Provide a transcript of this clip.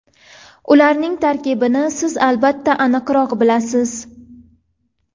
Ularning tarkibini siz albatta aniqroq bilasiz.